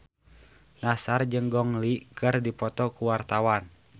Nassar jeung Gong Li keur dipoto ku wartawan